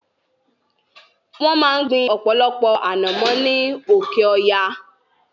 Wọ́n máa ń gbin ọ̀pọ̀lọpọ̀ anomo ni oke-oya